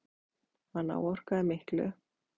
Hann áorkaði miklu.